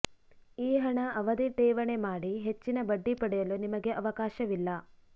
ಈ ಹಣ ಅವಧಿ ಠೇವಣಿ ಮಾಡಿ ಹೆಚ್ಚಿನ ಬಡ್ಡಿ ಪಡೆಯಲು ನಿಮಗೆ ಅವಕಾಶವಿಲ್ಲ